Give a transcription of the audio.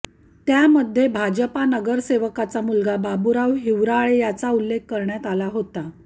त्यामध्ये भाजपा नगरसेवकाचा मुलगा बाबुराव हिवराळे याचा उल्लेख करण्यात आला होता